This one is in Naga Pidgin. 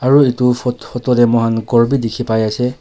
Aro etu phot photo tey moi han ghor bi dekhi pai ase.